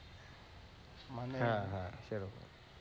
হ্যাঁ, হ্যাঁ, সেরকম